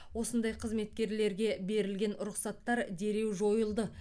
осындай қызметкерлерге берілген рұқсаттар дереу жойылды